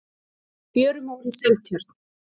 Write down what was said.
fjörumór í seltjörn